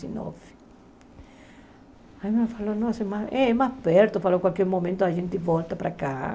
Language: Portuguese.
Dezenove aí ele falou, nossa, é mais perto, falou, a qualquer momento a gente volta para cá.